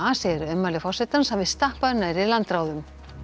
segir að ummæli forsetans hafi stappað nærri landráðum